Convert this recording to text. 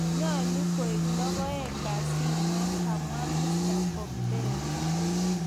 �Nyalu koi logoeek kasinywan ,� kamwa mr.Popmpeo